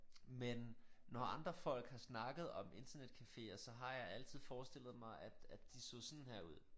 Men når andre folk har snakket om internetcaféer så har jeg altid forestillet mig at at de så sådan her ud